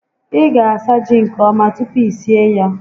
Ị ga asa ji nke ọma tupu i sie ya